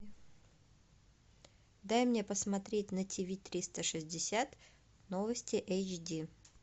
дай мне посмотреть на ти ви триста шестьдесят новости эйч ди